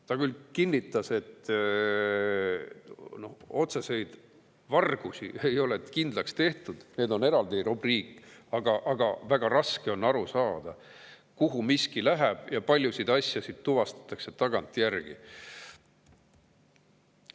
Ta küll kinnitas, et otseseid vargusi ei ole kindlaks tehtud, need on eraldi rubriik, aga väga raske on aru saada, kuhu miski läheb, ja paljusid asju tuvastatakse tagantjärgi.